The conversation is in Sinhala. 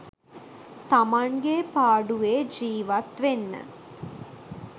තමන්ගේ පාඩුවේ ජීවත් වෙන්න.